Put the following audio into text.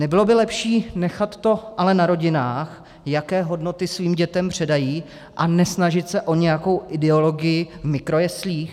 Nebylo by lepší nechat to ale na rodinách, jaké hodnoty svým dětem předají, a nesnažit se o nějakou ideologii v mikrojeslích?